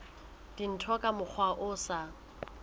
dintho ka mokgwa o sa